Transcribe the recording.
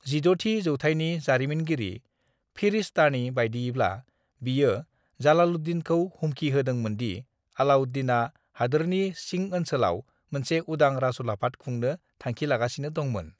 "16 थि जौथायनि जारिमिनगिरि फिरिशतानि बायदियैब्ला, बियो जलालुद्दीनखौ हुमखिहोदोंमोनदि अलाउद्दीना हादोरनि सिंओनसोलाव मोनसे उदां राजउलाफाद खुंनो थांखिलागासिनो दंमोन।"